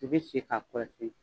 I bi sigi ka kɔlɔsi